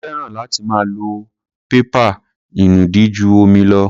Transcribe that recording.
Mo fẹ́ràn láti máa lo pépà ìnùdí ju omi lọ.